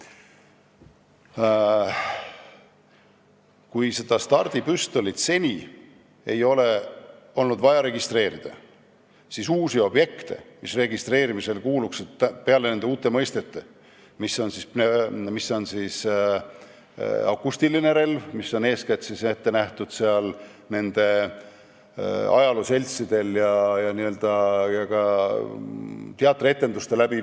Kui seda stardipüstolit seni ei ole olnud vaja registreerida, siis uusi objekte, mis registreerimisele kuuluksid, ei ole, peale uute mõistete, näiteks akustiline relv, mis on ette nähtud eeskätt ajalooseltsidele ja ka teatrietendusteks.